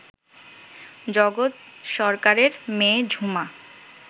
জগৎ সরকারের মেয়ে ঝুমা